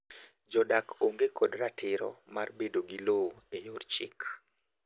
Jodak onge kod ratiro mar bedo gi lowo e yor chik.